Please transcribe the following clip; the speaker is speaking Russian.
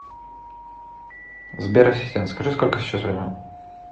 сбер ассистент скажи сколько сейчас время